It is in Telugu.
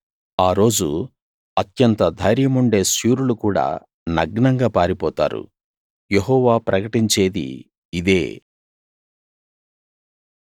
ఆ రోజు అత్యంత ధైర్యండే శూరులు కూడా నగ్నంగా పారిపోతారు యెహోవా ప్రకటించేది ఇదే